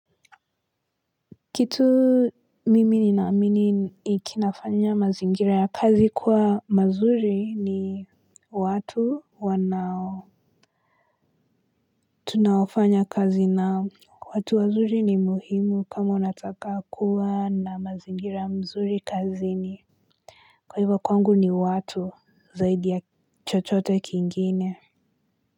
Kitu mimi ni naamini kinafanya mazingira ya kazi kuwa mazuri ni watu wanao tunafanya kazi nao. Watu wazuri ni muhimu kama unataka kuwa na mazingira mzuri kazini. Kwa hivyo kwangu ni watu zaidi ya chochote kingine.